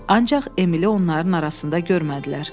Ancaq Emili onların arasında görmədilər.